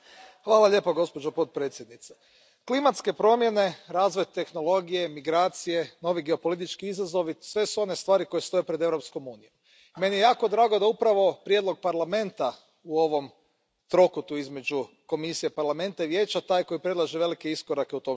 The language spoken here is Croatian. Poštovana predsjedavajuća, klimatske promjene, razvoj tehnologije, migracije, novi geopolitički izazovi sve su one stvari koje stoje pred Europskom unijom. Meni je jako drago da je upravo Parlament u ovom trokutu između Komisije, Parlamenta i Vijeća taj koji predlaže velike iskorake u tom smislu.